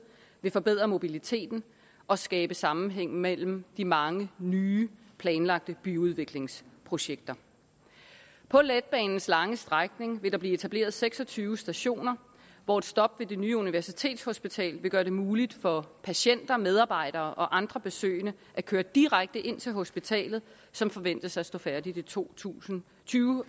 vil forbedre mobiliteten og skabe sammenhæng mellem de mange nye planlagte byudviklingsprojekter på letbanens lange strækning vil der blive etableret seks og tyve stationer hvor et stop ved det nye universitetshospital vil gøre det muligt for patienter medarbejdere og andre besøgende at køre direkte ind til hospitalet som forventes at stå færdigt i to tusind og tyve